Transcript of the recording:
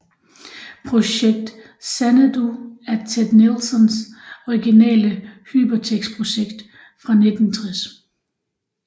Projekt Xanadu er Ted Nelsons originale Hypertekstprojekt fra 1960